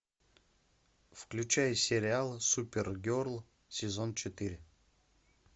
включай сериал супергерл сезон четыре